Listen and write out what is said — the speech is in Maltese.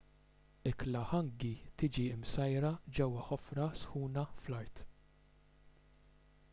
ikla hangi tiġi msajra ġewwa ħofra sħuna fl-art